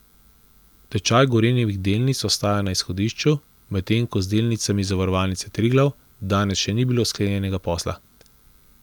Tečaj Gorenjevih delnic ostaja na izhodišču, medtem ko z delnicami Zavarovalnice Triglav danes še ni bilo sklenjenega posla.